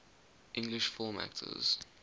english film actors